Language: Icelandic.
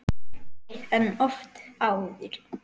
Dekkri en oft áður.